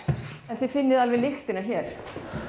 þið finnið alveg lyktina hér